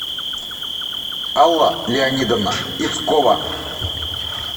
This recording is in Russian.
алла леонидовна ицкова